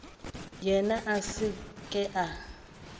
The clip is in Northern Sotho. yena a se ke a